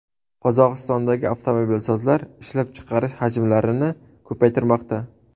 Qozog‘istondagi avtomobilsozlar ishlab chiqarish hajmlarini ko‘paytirmoqda.